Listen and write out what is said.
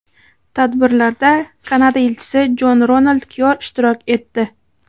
Tadbirlarda Kanada elchisi Jon Ronald Kyor ishtirok etdi.